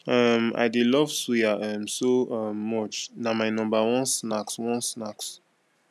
um i dey love suya um so um much na my number one snacks one snacks